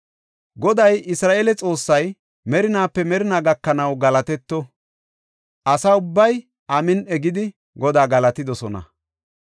Goday Isra7eele Xoossay, merinaape merinaa gakanaw galatetto! Asa ubbay, “Amin7i” gidi, Godaa galatidosona.